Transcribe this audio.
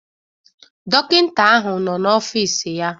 Dọkịta ahụ nọ n'ọfịs ya